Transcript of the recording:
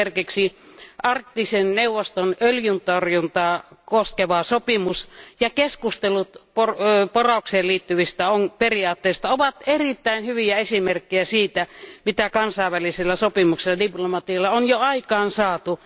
Esimerkiksi Arktisen neuvoston öljyntorjuntaa koskeva sopimus ja keskustelut poraukseen liittyvistä periaatteista ovat erittäin hyviä esimerkkejä siitä, mitä kansainvälisillä sopimuksilla ja diplomatialla on jo aikaansaatu.